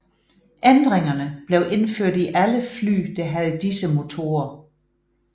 Ændringerne blev indført i alle fly der havde disse motorer